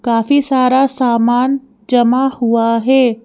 काफी सारा सामान जमा हुआ है।